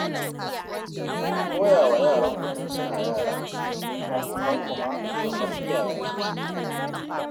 Ku koya wa yaranku tun suna yara, abokanku ma kamar iyayensu suke